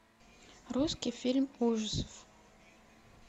русский фильм ужасов